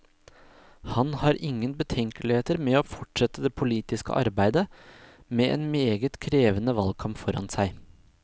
Han har ingen betenkeligheter med å fortsette det politiske arbeidet, med en meget krevende valgkamp foran seg.